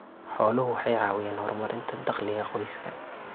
Xooluhu waxay caawiyaan horumarinta dakhliga qoyska.